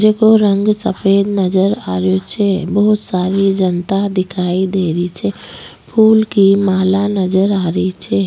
जेको रंग सफ़ेद नजर आ रहियो छे बहुत सारी जनता दिखाई दे रही छे फूल की माला नजर आ रही छे।